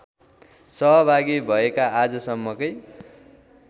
सहभागी भएका आजसम्मकै